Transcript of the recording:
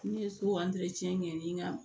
N ye so kɛ ni n ka